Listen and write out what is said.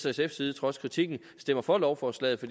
sf’s side trods kritikken stemmer for lovforslaget